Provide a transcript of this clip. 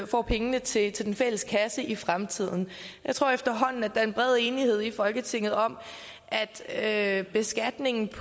får penge til den fælles kasse i fremtiden jeg tror efterhånden at der er en bred enighed i folketinget om at beskatningen af